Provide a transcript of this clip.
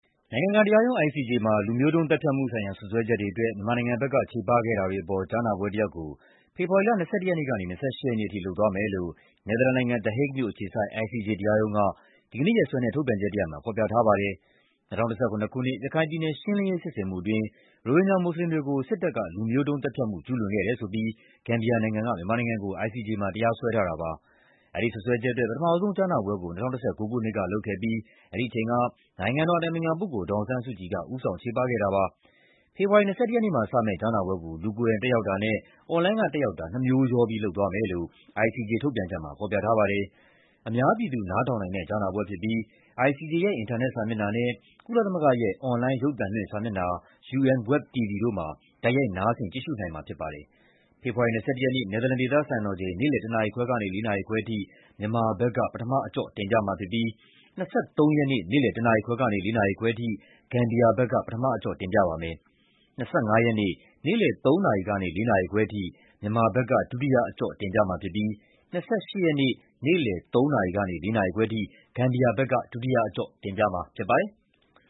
နိုင်ငံတကာတရားရုံး (ICJ) မှာ လူမျိုးတုံးသတ်ဖြတ်မှုဆိုင်ရာ စွပ်စွဲချက်တွေအတွက် မြန်မာနိုင်ငံဘက်က ချေပခဲ့တာတွေအပေါ် ကြားနာပွဲတရပ်ကို ဖေဖော်ဝါရီလ ၂၁ ရက်နေ့ကနေ ၂၈ ရက်နေ့အထိ လုပ်သွားမယ်လို့ နယ်သာလန်နိုင်ငံ၊ The Hague မြို့ အခြေစိုက် ICJ တရားရုံးက ဒီကနေ့ရက်စွဲနဲ့ ထုတ်ပြန်ချက်တရပ်မှာ ဖော်ပြထားပါတယ်။ ၂၀၁၇ ခုနှစ်၊ ရခိုင်ပြည်နယ် ရှင်းလင်းရေးစစ်ဆင်မှုအတွင်း ရိုဟင်ဂျာမွတ်ဆလင်တွေကို စစ်တပ်က လူမျိုးတုံးသတ်ဖြတ်မှု ကျူးလွန်ခဲ့တယ်ဆိုပြီး ဂမ်ဘီယာနိုင်ငံက မြန်မာနိုင်ငံကို ICJ မှာ တရားစွဲထားတာပါ။ အဲဒီစွပ်စွဲချက်အတွက် ပထမဆုံး ကြားနာပွဲ ကို ၂၀၁၉ ခုနှစ်ကလုပ်ခဲ့ပြီး အဲဒီအချိန်က နိုင်ငံတော်အတိုင်ပင်ခံပုဂ္ဂိုလ် ဒေါ်အောင်ဆန်းစုကြည်က ဦးဆောင် ချေပခဲ့တာပါ။ ဖေဖော်ဝါရီ ၂၁ ရက်နေ့မှာစမယ့် ကြားနာပွဲကို လူကိုင်တိုင်တက်ရောက်တာနဲ့ အွန်လိုင်းက တက်ရောက်တာ နှစ်မျိုးရော လုပ်သွားမယ်လို့ ICJ ထုတ်ပြန်ချက်မှာ ဖော်ပြထားပါတယ်။ အများပြည်သူ နားထောင်နိုင်တဲ့ ကြားနာပွဲဖြစ်ပြီး ICJ ရဲ့ အင်တာနက်စာမျက်နှာနဲ့ ကုလသမဂ္ဂရဲ့ အွန်လိုင်း ရုပ်သံလွှင့်စာမျက်နှာ UN Web TV တို့မှာ တိုက်ရိုက် နားဆင် ကြည့်ရှုနိုင်မှာဖြစ်ပါတယ်။ ဖေဖော်ဝါရီ ၂၁ ရက်နေ့၊ နယ်သာလန် ဒေသစံတော်ချိန် နေ့လည် ၁ နာရီခွဲကနေ ၄ နာရီခွဲအထိ မြန်မာဘက်က ပထမအကျော့ တင်ပြမှာဖြစ်ပြီး ၂၃ ရက်နေ့ နေ့လည် ၁ နာရီခွဲကနေ ၄ နာရီခွဲအထိ ဂမ်ဘီယာဘက်က ပထမအကျော့ တင်ပြပါမယ်။ ၂၅ ရက်နေ့ နေ့လည် ၃ နာရီကနေ ၄ နာရီခွဲအထိ မြန်မာဘက်က ဒုတိယအကျော့တင်ပြမှာဖြစ်ပြီး ၂၈ ရက်နေ့ နေ့လည် ၃ နာရီကနေ ၄ နာရီခွဲအထိ ဂမ်ဘီယာဘက်က ဒုတိယအကျော့ တင်ပြမှာဖြစ်ပါတယ်။